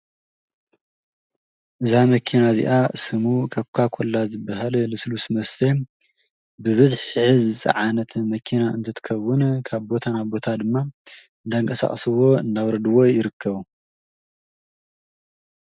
ኮካኮላ ዝፀዓነት መኪና ትረኣ። ኣብ ምርጋፍ ከዓ ይርከቡ።